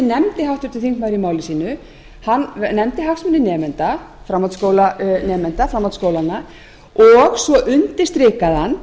nefndi háttvirtur þingmaður í máli sínu hann nefndi hagsmuni nemenda framhaldsskólanemenda framhaldsskólanna og svo undirstrikaði hann